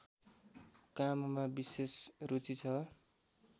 काममा विशेष रुचि छ